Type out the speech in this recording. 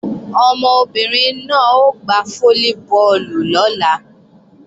Ọmọbìnrin náà ó gbá fólíbọọ̀lù lọ́la